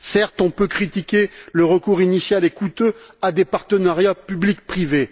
Certes, on peut critiquer le recours initial et coûteux à des partenariats public privé.